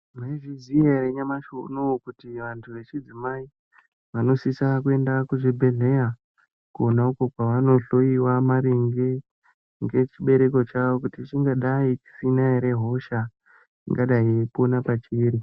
Maizviziya ere kuti nyamushi uyoyu vantu vechidzimai vanosise kuenda kuchibhedhlera konauko kwavanohloyiwa maringe ngechibereko chavo kuti chingadai chisina here hosha ingadai ichipona pachiri.